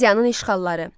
Miyanın işğalları.